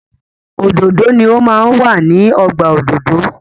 Òdòdó ni o máa ń wà ní ọgbà òdòdó.